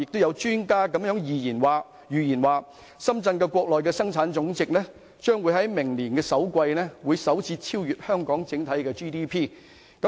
有專家預言，深圳的生產總值將於明年首季首次超越香港的 GDP。